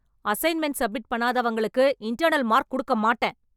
assignment submit பண்ணாதவங்களுக்கு, internal mark குடுக்க மாட்டேன்...